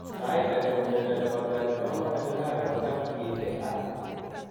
Saiit age ko myondo nebo granuloma annulare kotam kiite ak